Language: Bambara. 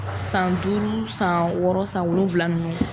San duuru san wɔɔrɔ san wolonwula ninnu.